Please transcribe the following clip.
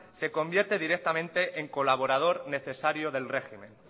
se convierte directamente en colaborador necesario del régimen